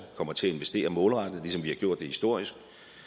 kommer til at investere målrettet ligesom vi har gjort det historisk